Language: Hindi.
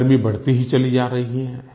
गर्मी बढ़ती ही चली जा रही है